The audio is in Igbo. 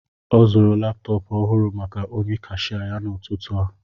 Ọ zụrụ laptọọpụ ọhụrụ maka onye kasia ya n'ụtụtụ a